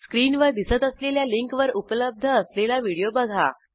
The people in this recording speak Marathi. स्क्रीनवर दिसत असलेल्या लिंकवर उपलब्ध असलेला व्हिडिओ बघा